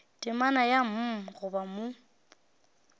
temana ya mm gona mo